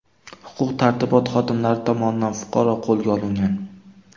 Huquq-tartibot xodimlari tomonidan fuqaro qo‘lga olingan.